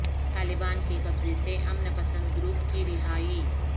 طالبان کے قبضہ سے امن پسند گروپ کی رہائی